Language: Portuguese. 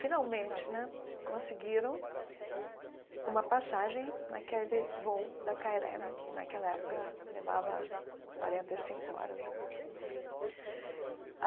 Finalmente né, conseguiram uma passagem naquele voo da cá ele eme, que naquela época levava quarenta e cinco horas, eu acho, não sei aí.